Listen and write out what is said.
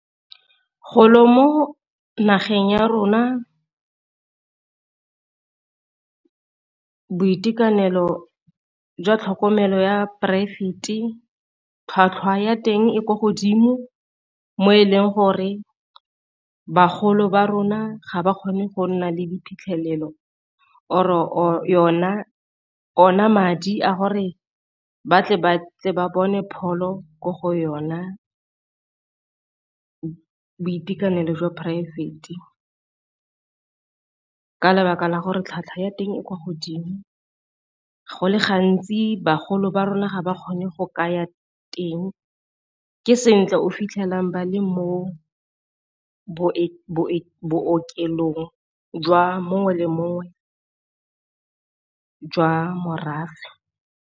Go lo mo nageng ya rona boitekanelo jwa tlhokomelo ya poraefete tlhwatlhwa ya teng e kwa godimo, mo e leng gore bagolo ba rona ga ba kgone go nna le diphitlhelelo or-o ona madi a gore batle ba tle ba bone pholo ko go yona boitekanelo jwa poraefete. Ka lebaka la gore tlhwatlhwa ya teng e kwa godimo, go le gantsi bagolo ba rona ga ba kgone go ka ya teng ke se tle o fitlhalang ba le mo bookelong jwa mongwe le mongwe jwa morafe.